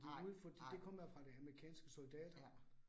Nej, nej. Ja